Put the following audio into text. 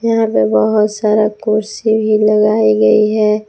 यहां पर बहोत सारा कुर्सी भी लगाई गई है।